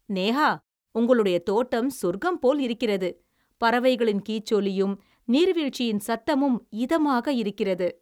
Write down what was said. நேஹா, உங்களுடைய தோட்டம் சொர்க்கம் போல் இருக்கிறது. பறவைகளின் கீச்சொலியும், நீர்வீழ்ச்சியின் சத்தமும் இதமாக இருக்கிறது.